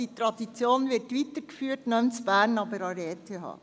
Diese Tradition wird somit weitergeführt, nicht in Bern, aber an der ETH.